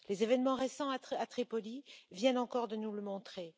Les événements récents à Tripoli viennent encore de nous le montrer.